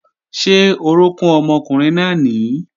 Ṣé orókún ọmọkùnrin náà nìí?